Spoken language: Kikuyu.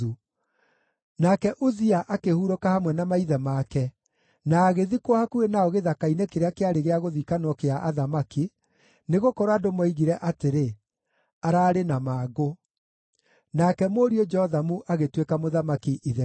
Nake Uzia akĩhurũka hamwe na maithe make, na agĩthikwo hakuhĩ nao gĩthaka-inĩ kĩrĩa kĩarĩ gĩa gũthikanwo gĩa athamaki, nĩgũkorwo andũ moigire atĩrĩ, “Ararĩ na mangũ.” Nake mũriũ Jothamu agĩtuĩka mũthamaki ithenya rĩake.